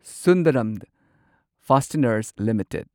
Sundaram Fasteners limited